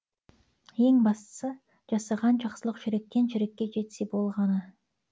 ең бастысы жасаған жақсылық жүректен жүрекке жетсе болғаны